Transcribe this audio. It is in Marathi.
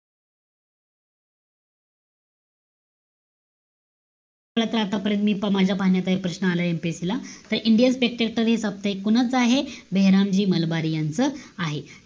तर, त आता परत मी माझ्या पाहण्यात एक प्रश्न आलाय MPSC ला. indian security कोणाचं आहे? बेहेरामजी मलबार यांचं आहे.